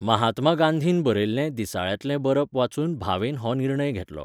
महात्मा गांधीन बरयल्लें दिसाळ्यांतले बरप वाचून भावेन हो निर्णय घेतलो.